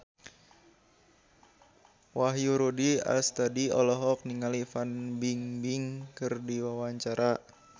Wahyu Rudi Astadi olohok ningali Fan Bingbing keur diwawancara